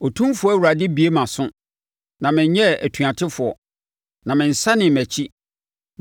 Otumfoɔ Awurade abue mʼaso na menyɛɛ otuatefoɔ; na mensanee mʼakyi.